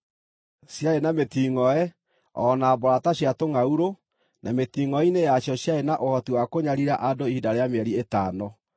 Ciarĩ na mĩtingʼoe, o na mboora ta cia tũngʼaurũ, na mĩtingʼoe-inĩ yacio ciarĩ na ũhoti wa kũnyariira andũ ihinda rĩa mĩeri ĩtano.